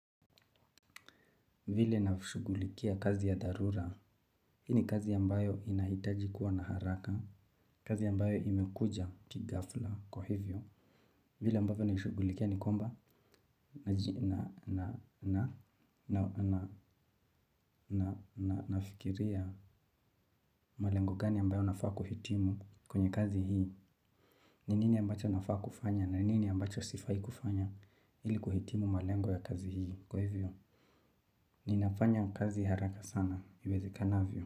Vile nashugulikia kazi ya dharura, hii ni kazi ambayo inahitaji kuwa na haraka, kazi ambayo imekuja kighafla kwa hivyo. Vila ambavyo naishugulikia nikwamba na na na na na na na fikiria malengo gani ambayo nafaa kuhitimu kwenye kazi hii. Ni nini ambacho nafaa kufanya na ni nini ambacho sifai kufanya ili kuhitimu malengo ya kazi hii kwa hivyo. Inafanya kazi haraka sana iwezekanavyo.